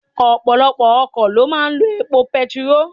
Ọ̀pọ̀lọpọ̀ ọkọ̀ lọ máa ń lọ epo bẹntiróòlù.